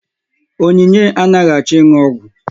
Onyinye anaghị achọ ịnụ ọgwụ.